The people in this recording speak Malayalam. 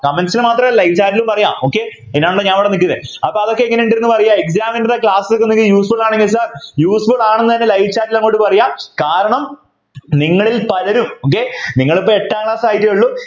Comments ൽ മാത്രമല്ല live chat ലും പറയാം okay അതിനാണല്ലോ ഞാനിവിടെ നിൽക്കുന്നത് അപ്പൊ അതൊക്കെ എങ്ങനെയുണ്ടെന്ന് പറയാം Examiner ൻ്റെ Class ഒക്കെ Useful ആണെന്ന് വെച്ചാൽ Useful ആണെന്ന് തന്നെ live chat ൽ അങ്ങോട്ട് പറയുക കാരണം നിങ്ങളിൽ പലരും okay നിങ്ങളിപ്പോൾ എട്ടാം Class ആയിട്ടേ ഉള്ളു